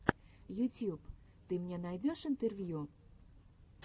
ютьюб ты мне найдешь интервью